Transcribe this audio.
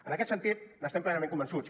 en aquest sentit n’estem plenament convençuts